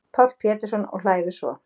Páll Pétursson, og hlæðu svo.